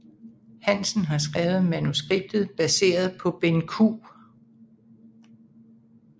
Hansen har skrevet manuskriptet baseret på Benn Q